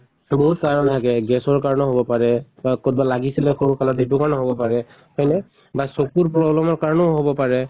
তʼ বহুত কাৰণ থাকে gas ৰ কাৰণেও হʼব পাৰে বা কʼত বা লাগিছিলে সৰু কালত সেইটো কাৰণেও হʼব পাৰে হয়্নে? বা চকুৰ problem ৰ কাৰণেও হʼব পাৰে।